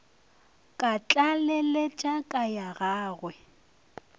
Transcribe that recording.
ka tlaleletša ka ya gagwe